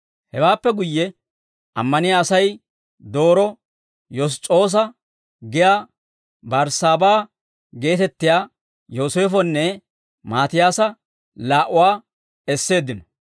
Hewaappe guyye ammaniyaa Asay dooroo Yoss's'oosa giyaa Barssaabaa geetettiyaa Yooseefonne Maatiyaasa laa"uwaa esseeddino.